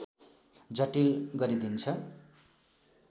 जटिल गरिदिन्छ